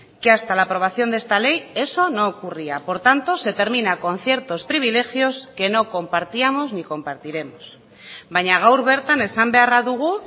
que hasta la aprobación de esta ley eso no ocurría por tanto se termina con ciertos privilegios que no compartíamos ni compartiremos baina gaur bertan esan beharra dugu